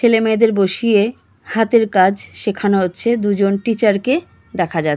ছেলেমেয়েদের বসিয়ে হাতের কাজ শেখানো হচ্ছে দুজন টিচার -কে দেখা যা--